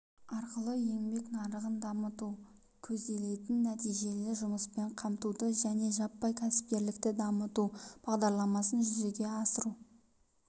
арқылы еңбек нарығын дамыту көзделетін нәтижелі жұмыспен қамтуды және жаппай кәсіпкерлікті дамыту бағдарламасын жүзеге асыру